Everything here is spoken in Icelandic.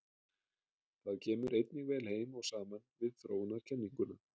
Það kemur einnig vel heim og saman við þróunarkenninguna.